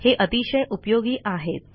हे अतिशय उपयोगी आहेत